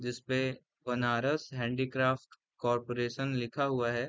जिसपे Banaras handicraft corporation लिखा हुआ है।